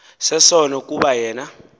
sesono kuba yena